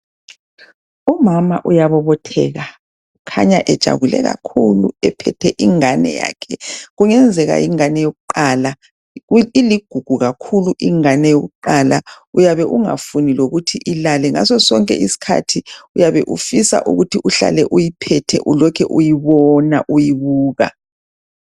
Umama uyabobotheka kukhanya ejabule kakhulu ephethe ingane yakhe kungenzeka yingane yokuqala, iIigugu kakhulu ingane yokuqala. Uyabe ungafuni lokuthi ilale ngaso sonke isikhathi uyabe ufisa ukuthi uhlale uyiphethe ulokhu uyibona uyibuka.